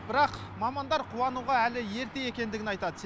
бірақ мамандар қуануға әлі ерте екендігін айтады